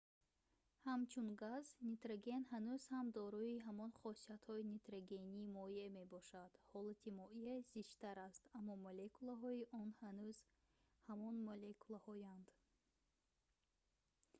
ҳамчун газ нитроген ҳанӯз ҳам дорои ҳамон хосиятҳои нитрогени моеъ мебошад ҳолати моеъ зичтар аст аммо молекулаҳои он ҳанӯз ҳамон молекулаҳоянд